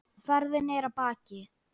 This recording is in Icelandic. Ferðin er að baki.